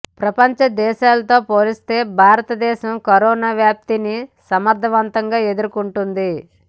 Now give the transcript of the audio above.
ప్రపంచ దేశాలతో పోలిస్తే భారత దేశం కరోనా వ్యాప్తి నీ సమర్థవంతంగా ఎదుర్కొంటుంది